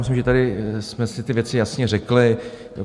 Myslím, že tady jsme si ty věci jasně řekli.